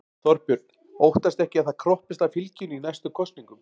Þorbjörn: Óttastu ekki að það kroppist af fylginu í næstu kosningum?